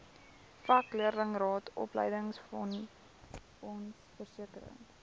vakleerlingraad opleidingsfonds versekering